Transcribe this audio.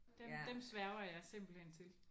Dem dem sværger jeg simpelthen til